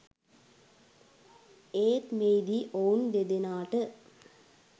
ඒත් මෙහිදී ඔවුන් දෙදෙනාට